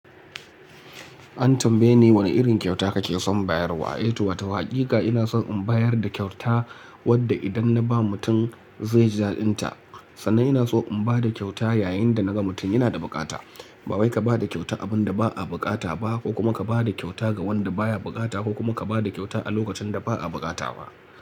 An tambaye ni wane irin kyauta kake son bayarwa. Eh to wato hakika ina son in bayar da kyauta wadda idan na ba mutum zai ji dadinta. Sannan ina so in ba da kyauta yayin da naga mutum yana da bukata. Ba wai ka ba da kyauta abin da ba a bukata ba ko kuma ka ba da kyauta ga wanda baya bukata ko kuma ka ba da kyauta a lokacin da ba a bukata ba.